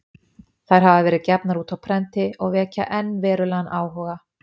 þær hafa verið gefnar út á prenti og vekja enn verulegan áhuga